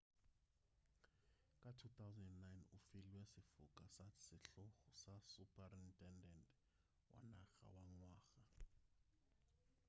ka 2009 o filwe sefoka sa sehlogo sa suprutendente wa naga wa ngwaga